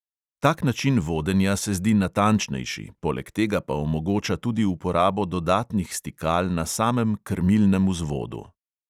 Tak način vodenja se zdi natančnejši, poleg tega pa omogoča tudi uporabo dodatnih stikal na samem krmilnem vzvodu.